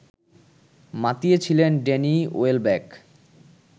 মাতিয়েছিলেন Danny Welbeck